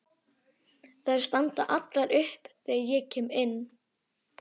Þær standa allar upp þegar ég kem inn.